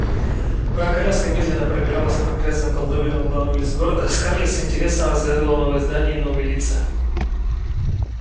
пока коляска медленно пробиралась по грязным колдобинам главной улицы города скарлетт с интересом разглядывала новые здания и новые лица